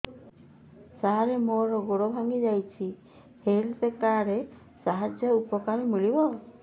ସାର ମୋର ଗୋଡ଼ ଭାଙ୍ଗି ଯାଇଛି ହେଲ୍ଥ କାର୍ଡ ସାହାଯ୍ୟରେ ଉପକାର ମିଳିବ